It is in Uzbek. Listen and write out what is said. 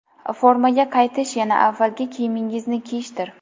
Formaga qaytish yana avvalgi kiyimingizni kiyishdir.